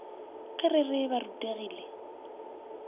ge re re ba rutegile